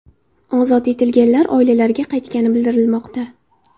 Ozod etilganlar oilalariga qaytgani bildirilmoqda.